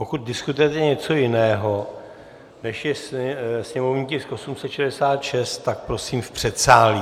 Pokud diskutujete něco jiného, než je sněmovní tisk 866, tak prosím v předsálí.